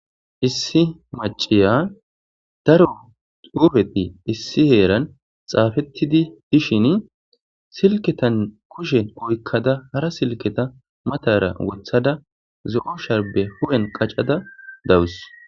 issi maciya daro duufeti issi heeran xaafettidi dishin silketan kushen oykkada hara silketa matara wothada zo7o sharbe hu7en qaccada dawus